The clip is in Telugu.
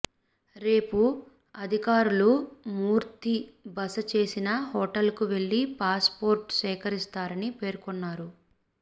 రేపు అధికారులు మూర్తి బస చేసిన హోటల్కు వెళ్లి పాస్ పోర్టు సేకరిస్తారని పేర్కొన్నారు